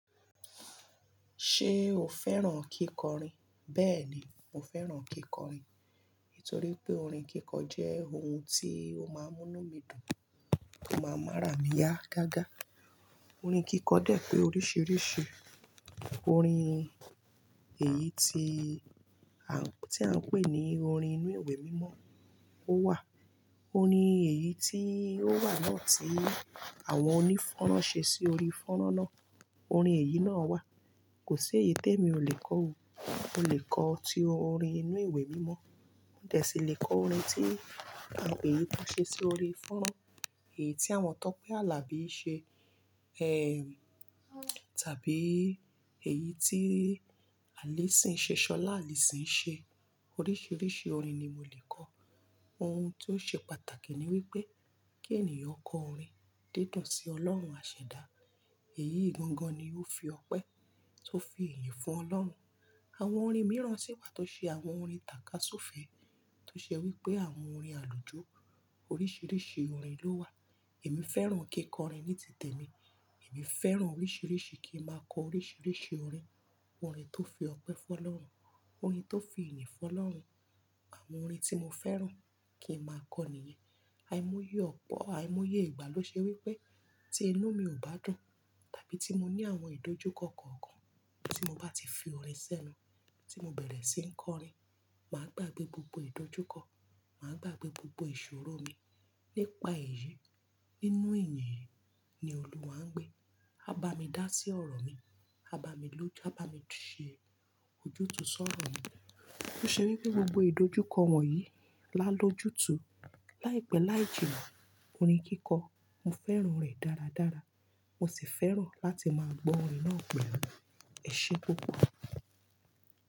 Ṣé o fẹ́ràn kíkọrin? Bẹ́ẹ̀ni, mo fẹ́ràn kíkọrin. Nítorí pé orin kíkọ jẹ́ ohun tí ó máa ń múnú mí dùn, tó máa ń mú àrà mi yá gágá. Orin kíkọ dẹ̀ pé oríṣiríṣi. Orin èyí tí à ń pè ní orin inú ìwé mímọ́, ó wà. Orin èyí tí ó wà náà tí àwọn onífọ́nrán ṣe sí orí fọ́nrán náà. Orin èyí náà wà. Kò sí èyí tẹ́mi ò lè kọ. Mo lè kọ ti orin inú ìwé mímọ́. Mo dẹ̀ sí lè kọ orin tí èyí tí wón ṣe sí orí fọ́nrán. Èyí tí àwọn Tọ́pẹ́ Àlàbí ṣe. Ehn, tàbí èyí tí Allyson Ṣọlá Allyson. Oríṣiríṣi orin ni mo lè kọ. Ohun tó ṣe pàtàkì ni wípé kí ènìyàn kọ orin dídùn sí ọlọ́run àṣẹda. Èyí gangan ni ó fi ọpẹ́ tó fi ìyìn fún ọlọ́run. Àwọn orin mìíràn sì wà tó ṣe àwọn orin tàkasúfẹ̀ẹ́, tó ṣe wípé àwọn orin àlùjọ. Oríṣiríṣi orin ló wà. Èmi fẹ́ràn kíkọrin ní ti tèmi. Èmi fẹ́ràn oríṣiríṣi kí ń máa kọ oríṣiríṣi orin. Orin tó fi ọpẹ́ fún ọlọ́run, orin tó fi ìyìn fún ọlọ́run. Àwọn orin tí mo fẹ́ràn kí ń máa kọ ní ìyẹn. Àìmọye ọ̀pọ̀, àìmọye ìgbà ló ṣe wípé tí inú mi ò bá dùn, tàbí tí mo ní àwọn ìdójúkọ kọ̀ọ̀kan tí mo bá ti fi orin sẹ́nu, tí mo bẹ̀rẹ̀ sí ń kọ orin, màá gbàgbé gbogbo ìdójúkọ, màá gbàgbé gbogbo ìṣòro mi nípa èyí. Nínú ìyìn ni Olúwa ń gbé. A bá mi dá sí ọ̀rọ̀ mi. A bá mi ló, a bá mi ṣe ojútùú sọ́rọ̀ mi. Ó ṣe wípé gbogbo ìdójúkọ wọ̀nyí lá lójú tùú, láìpẹ́ láìjì náà. Orin kíkọ, mo fẹ́ràn rẹ̀ dáradára. Mo sì fẹ́ràn láti máa gbọ́ orin náà pẹ́lú. Ẹ ṣé púpò.